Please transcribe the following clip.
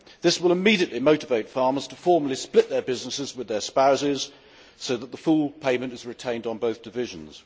This will immediately motivate farmers to formally split their businesses with their spouses so that the full payment is retained on both divisions.